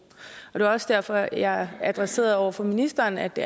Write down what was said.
og det var også derfor jeg adresserede over for ministeren at det